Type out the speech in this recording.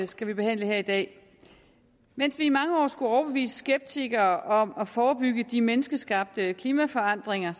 skal vi behandle her i dag mens vi i mange år skulle overbevise skeptikere om at forebygge de menneskeskabte klimaforandringer